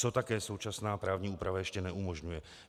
Co také současná právní úprava ještě neumožňuje?